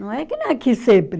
Não é que não é aqui sempre.